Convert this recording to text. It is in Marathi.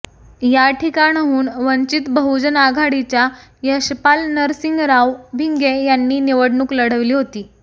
या ठिकाणाहून वंचित बहुजन आघाडीच्या यशपाल नरसिंगराव भिंगे यांनी निवडणूक लढवली होती